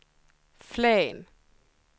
Flen